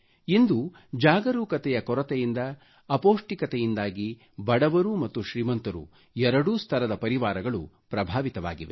ಇಂದು ಜಾಗರೂಕತೆಯ ಕೊರತೆಯಿಂದ ಅಪೌಷ್ಟಿಕತೆಯಿಂದಾಗಿ ಬಡವರೂ ಮತ್ತು ಶ್ರೀಮಂತರೂ ಎರಡೂ ಸ್ತರದ ಪರಿವಾರಗಳು ಪ್ರಭಾವಿತವಾಗಿವೆ